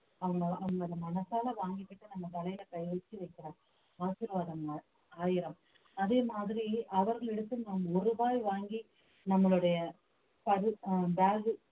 அவங்க அவங்க அதை மனசால வாங்கிகிட்டு நம்ம தலையில கைய வச்சு வைக்கிற ஆசீர்வாதம் ஆயிரம் அதே மாதிரி அவர்களிடத்தில் நாம் ஒரு ரூபாய் வாங்கி நம்மளுடைய ஆஹ் bag